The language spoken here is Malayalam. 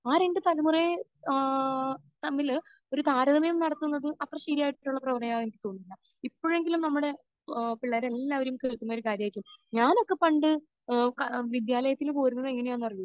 ആ രണ്ട് തലമുറയെ ഏഹ്ഹ് തമ്മിൽ ഒരു താരതമ്യം നടത്തുന്നത് അത്ര ശരിയായിട്ടുള്ള പ്രവണതയായി എനിക്ക് തോന്നുന്നില്ല. ഇപ്പോഴെങ്കിലും നമ്മുടെ ഏഹ് പിള്ളേരെല്ലാവരും കേൾക്കുന്നൊരു കാര്യമായിരിക്കും ഞാനൊക്കെ പണ്ട് ഏഹ് ക...വിദ്യാലയത്തിൽ പോയിരുന്നത് എങ്ങനെയാണെന്ന് അറിയോ?